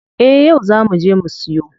Eh yau zaa muje mu siyo.